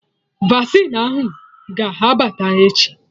Vasịn ahụ ga abata echi